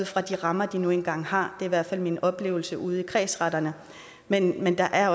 for de rammer de nu engang har det er i hvert fald min oplevelse ude i kredsretterne men men der er